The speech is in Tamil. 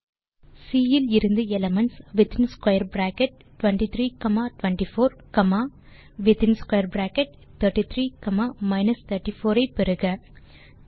சி இலிருந்து எலிமென்ட்ஸ் 23 24 காமா 33 34 ஐ பெறுக